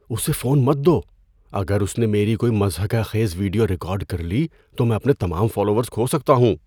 اسے فون مت دو۔ اگر اس نے میری کوئی مضحکہ خیز ویڈیو ریکارڈ کر لی تو میں اپنے تمام فالوورز کھو سکتا ہوں۔